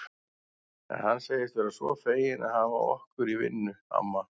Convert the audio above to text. En hann segist vera svo feginn að hafa okkur í vinnu, amma